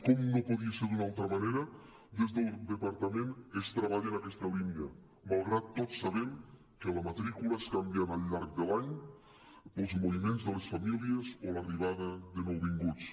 com no podia ser d’una altra manera des del departament es treballa en aquesta línia malgrat tot sabem que la matrícula es canviant al llarg de l’any pels moviments de les famílies o l’arribada de nouvinguts